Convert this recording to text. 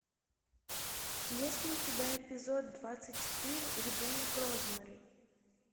есть ли у тебя эпизод двадцать четыре ребенок розмари